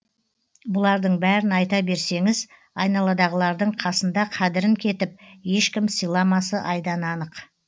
бұлардың бәрін айта берсеңіз айналадығылардың қасында қадірін кетіп ешкім сыйламасы айдан анық